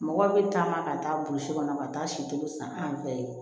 Mɔgɔ bɛ taama ka taa burusi kɔnɔ ka taa si kelen san an fɛ ye